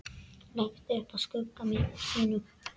Leggst upp að skugga sínum.